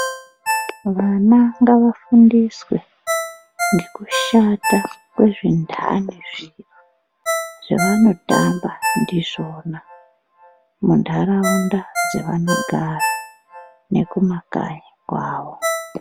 Vana ngava fundiswe ngekushata kwezvintani zviro zvavanotamba ndizvona muntaraunda dzavanogara nekumakanyi kwawo.